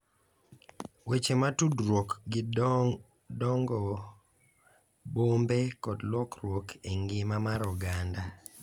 Weche ma tudruok gi dongo bombe kod lokruok e ngima mar oganda